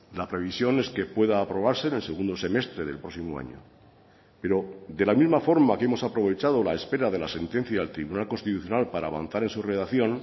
la previsión es que pueda aprobarse en el segundo semestre del próximo año pero de la misma forma que hemos aprovechado la espera de la sentencia del tribunal constitucional para avanzar en su redacción